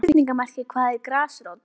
Þá er spurningamerki hvað er grasrót?